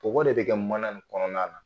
Bɔgɔ de bɛ kɛ mana ni kɔnɔna la